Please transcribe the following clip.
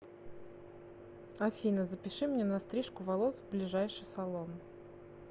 афина запиши меня на стрижку волос в ближайший салон